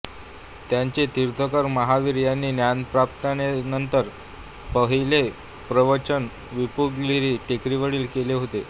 त्यांचे तीर्थंकर महावीर यांनी ज्ञानप्राप्तीनंतरचॆ पहिलाॆ प्रवचन विपुलगिरी टेकडीवर केले होते